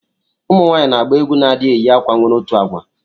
Ụmụnwanyi na agba egwu na adi eyi akwa nwere otụ agwa.